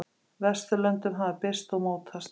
Vesturlöndum hafa birst og mótast.